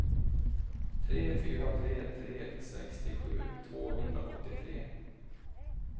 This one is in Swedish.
tre fyra tre tre sextiosju tvåhundraåttiotre